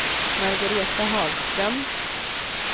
Margareta Hagström